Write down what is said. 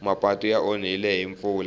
mapatu ya onhile hi mpfula